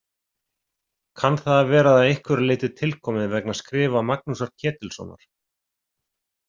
Kann það að vera að einhverju leyti tilkomið vegna skrifa Magnúsar Ketilssonar.